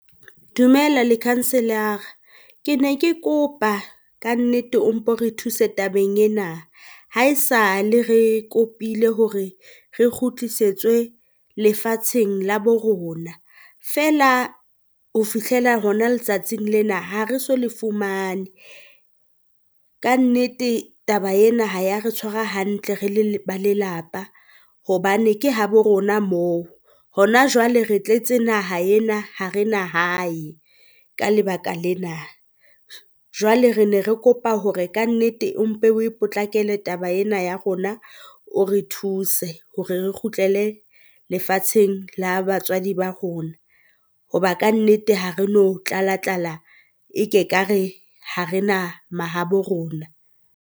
Dumela Lekhanselara ke ne ke kopa kannete o mpo re thuse tabeng ena, ha e sa le re kopile hore re kgutlisetswe lefatsheng la bo rona, feela ho fihlela hona letsatsing lena ha re so le fumane. Kannete taba ena ha ya re tshwara hantle re le ba lelapa, hobane ke habo rona moo hona jwale re tletse naha ena ha re na hae ka lebaka lena. Jwale re ne re kopa hore kannete o mpe o e potlakele taba ena ya rona, o re thuse hore re kgutlele lefatsheng la batswadi ba rona, hoba kannete ha re no tlala tlala e ke ka re ha re na mahabo rona.